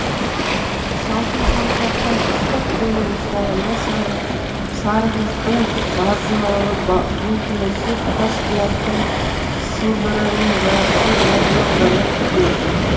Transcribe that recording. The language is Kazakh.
салқын саусақтан ыстық қолмен ұстағанда сарықыздың базыналы бұлқынысы тасбұлақтың сылдырымен жарыса назданғаны көкейде